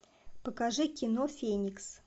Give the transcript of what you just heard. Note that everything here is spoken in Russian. покажи кино феникс